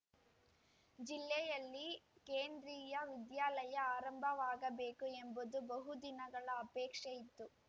ಜಿಲ್ಲೆಯಲ್ಲಿ ಕೇಂದ್ರಿಯ ವಿದ್ಯಾಲಯ ಆರಂಭವಾಗಬೇಕು ಎಂಬುದು ಬಹುದಿನಗಳ ಅಪೇಕ್ಷೆ ಇತ್ತು